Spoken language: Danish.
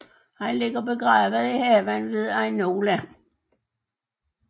Han ligger begravet i haven ved Ainola